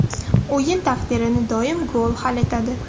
O‘yin taqdirini doim gol hal etadi.